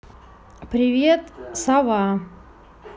привет сова